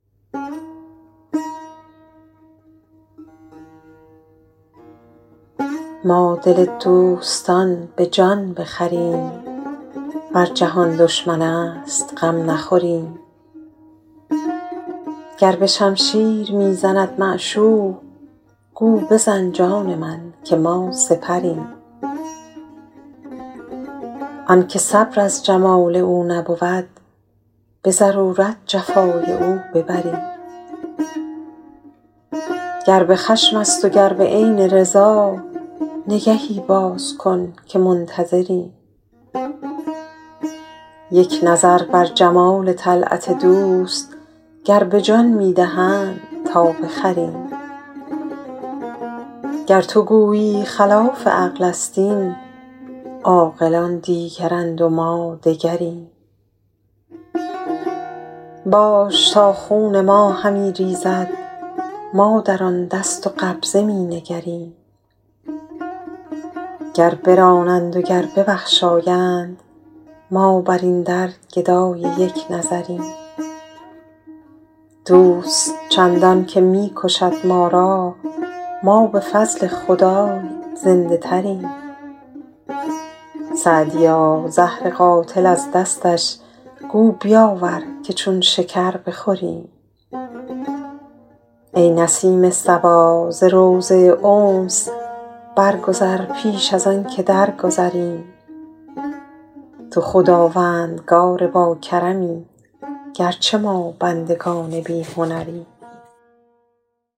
ما دل دوستان به جان بخریم ور جهان دشمن است غم نخوریم گر به شمشیر می زند معشوق گو بزن جان من که ما سپریم آن که صبر از جمال او نبود به ضرورت جفای او ببریم گر به خشم است و گر به عین رضا نگهی باز کن که منتظریم یک نظر بر جمال طلعت دوست گر به جان می دهند تا بخریم گر تو گویی خلاف عقل است این عاقلان دیگرند و ما دگریم باش تا خون ما همی ریزد ما در آن دست و قبضه می نگریم گر برانند و گر ببخشایند ما بر این در گدای یک نظریم دوست چندان که می کشد ما را ما به فضل خدای زنده تریم سعدیا زهر قاتل از دستش گو بیاور که چون شکر بخوریم ای نسیم صبا ز روضه انس برگذر پیش از آن که درگذریم تو خداوندگار باکرمی گر چه ما بندگان بی هنریم